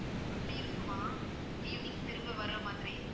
அப்படி இருக்குமா evening திரும்ப வர்ற மாதிரி